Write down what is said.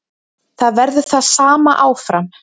Það verður það sama áfram.